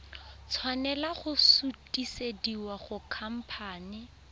tshwanela go sutisediwa go khamphane